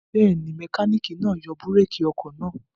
Bẹ́ẹ̀ ni, mẹkáníkì náa yọ búrékì ọkọ̀ náà.